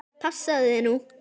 Passaðu þig nú!